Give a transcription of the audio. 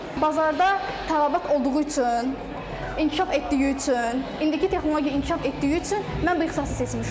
Bazarda tələbat olduğu üçün, inkişaf etdiyi üçün, indiki texnologiya inkişaf etdiyi üçün mən bu ixtisası seçmişəm.